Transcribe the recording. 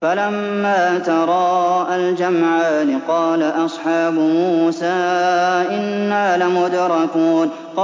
فَلَمَّا تَرَاءَى الْجَمْعَانِ قَالَ أَصْحَابُ مُوسَىٰ إِنَّا لَمُدْرَكُونَ